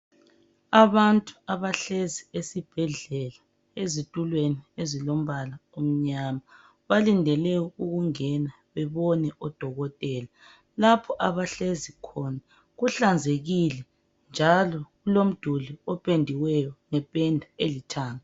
Abantu abahlezi esibhedlela, ezitulweni ezilombala omnyama. Balindele ukungena, bebone udokotela. Lapho abahlezi khona kuhlanzekile., njalo kulomduli opendiweyo, ngependa elithanga.